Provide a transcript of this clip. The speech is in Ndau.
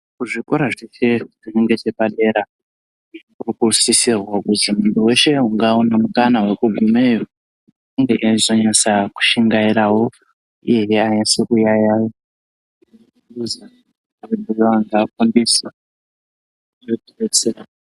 Kuzvikora zviri ngechepadera kunosisirwa kuzi mundu weshe ungaone mukana vekugumeyo unge eizonasa kushingaira uye anase kuyaya eifundiswa zvinotidzetsera.